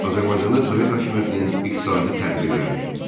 Azərbaycanda Sovet hakimiyyətinin iqtisadi tədbirləri.